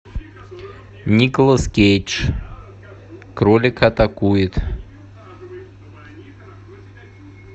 николас кейдж кролик атакует